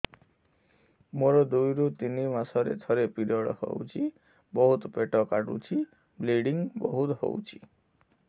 ମୋର ଦୁଇରୁ ତିନି ମାସରେ ଥରେ ପିରିଅଡ଼ ହଉଛି ବହୁତ ପେଟ କାଟୁଛି ବ୍ଲିଡ଼ିଙ୍ଗ ବହୁତ ହଉଛି